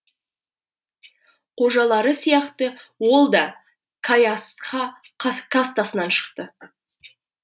қожалары сияқты ол да кайастха кастасынан шықты